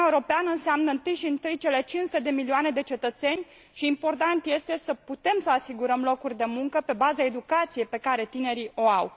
Uniunea Europeană înseamnă întâi și întâi cele 500 de milioane de cetățeni și important este să putem să asigurăm locuri de muncă pe baza educației pe care tinerii o au.